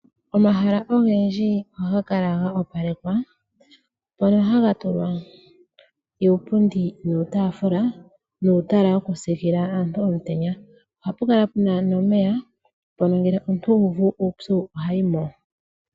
Omahala ogendji ohagakala ga opalekwa mpono hagatulwa uupundi nuutaafula nuutala wokusiikila aantu omutenya. Ohapukala puna nomeya mpono ngele omuntu uuvu uupyu ohayimo.